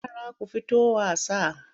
Yara ku fito wasa!